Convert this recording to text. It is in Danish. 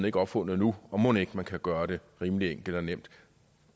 ikke opfundet endnu og mon ikke man kan gøre det rimelig enkelt og nemt